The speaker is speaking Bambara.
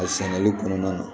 A sɛnɛli kɔnɔna na